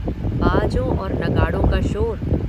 बाजों और नगाड़ों का शोर।